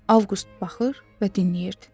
Avqust baxır və dinləyirdi.